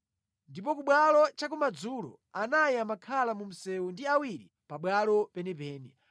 Ndipo ku bwalo cha kumadzulo, anayi amakhala mu msewu ndi awiri pabwalo penipeni.